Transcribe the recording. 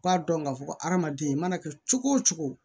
U k'a dɔn k'a fɔ ko adamaden i mana kɛ cogo o cogo